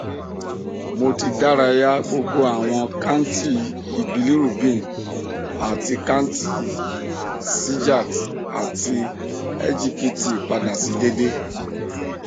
mo ti daraya gbogbo awọn kanti bilurbin ati kanti sgot ati sgpt pada si deede